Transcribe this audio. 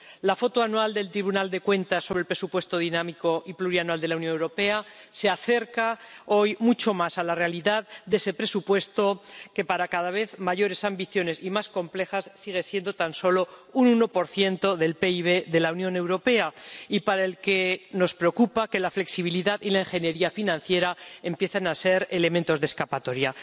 La foto anual del Tribunal de Cuentas sobre el presupuesto dinámico y plurianual de la Unión Europea se acerca hoy mucho más a la realidad de ese presupuesto que, para ambiciones cada vez mayores y más complejas, sigue siendo tan solo un 1 del PIB de la Unión Europea y en relación con el cual nos preocupa que la flexibilidad y la ingeniería financiera empiecen a ser elementos de escapatoria.